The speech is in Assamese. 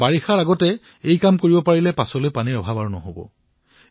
বাৰিষাৰ পূৰ্বে এয়া প্ৰৱন্ধন কৰিলে অনাগত সময়ত আমাৰ পানীৰ অভাৱ নহব